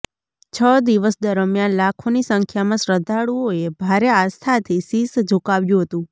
છ દિવસ દરમિયાન લાખોની સંખ્યામાં શ્રદ્ધાળુઓએ ભારે આસ્થાથી શિશ ઝુકાવ્યું હતું